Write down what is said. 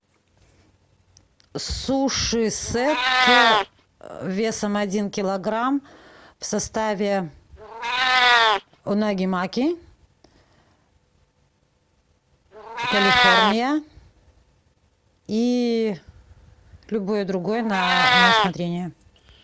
суши сет весом один килограмм в составе унаги маки калифорния и любое другое на усмотрение